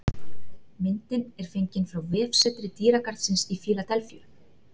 Myndin er fengin frá vefsetri dýragarðsins í Fíladelfíu